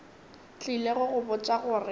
tlile go go botša gore